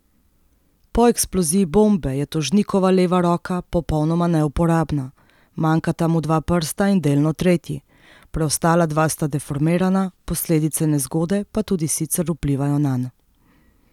Po eksploziji bombe je tožnikova leva roka popolnoma neuporabna, manjkata mu dva prsta in delno tretji, preostala dva sta deformirana, posledice nezgode pa tudi sicer vplivajo nanj.